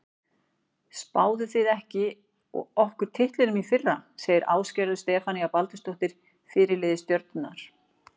Spáðuð þið ekki okkur titlinum í fyrra? segir Ásgerður Stefanía Baldursdóttir, fyrirliði Stjörnunnar.